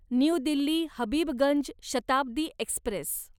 new Delhi Habibganj Shatabdi Express